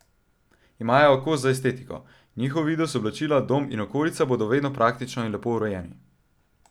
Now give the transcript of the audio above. Imajo oko za estetiko, njihov videz, oblačila, dom in okolica bodo vedno praktično in lepo urejeni.